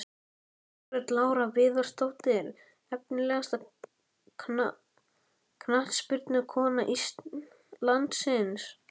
Margrét Lára Viðarsdóttir Efnilegasta knattspyrnukona landsins?